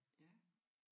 Ja